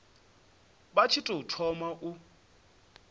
vha tshi tou thoma u